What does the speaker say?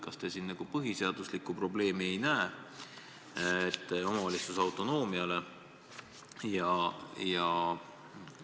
Kas te ei näe siin põhiseaduslikku probleemi omavalitsuse autonoomia suhtes?